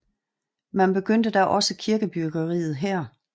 Man begyndte da også kirkebyggeriet her